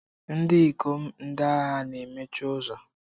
Ndị ikom ndị agha na-emechi ụzọ.